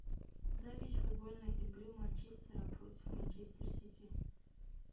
запись футбольной игры манчестера против манчестер сити